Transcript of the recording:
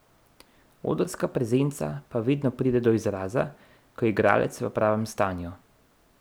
Odrska prezenca pa vedno pride do izraza, ko je igralec v pravem stanju.